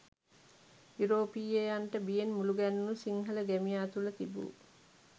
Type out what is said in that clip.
යුරෝපීයයන්ට බියෙන් මුළුගැන්වුණු සිංහල ගැමියා තුළ තිබූ